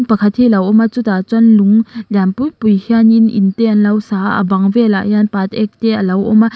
pakhat hi lo awm a chutah chuan lung lian pui pui hianin in te an lo sa a bang velah hian patek te a lo awm a.